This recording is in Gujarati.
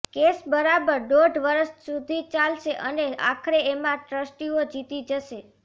કેસ બરાબર દોઢ વરસ સુધી ચાલશે અને આખરે એમાં ટ્રસ્ટીઓ જીતી જશે